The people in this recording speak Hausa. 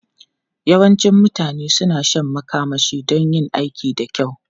Yawancin mutane suna shan makamashi don yin aiki da kyau.